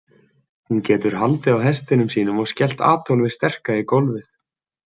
Hún getur haldið á hestinum sínum og skellt Adolfi sterka í gólfið.